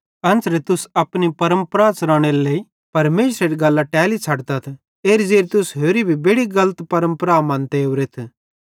एन्च़रां तुस अपनी परमपरा च़लानेरे लेइ परमेशरेरी गल्लां टेली छ़ड्तथ एरी ज़ेरि तुस होरि भी बेड़ि गलत परमपरा मन्ते ओरेथ